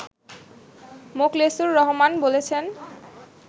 মোখলেসুর রহমান বলছেন